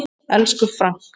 Elsku Frank.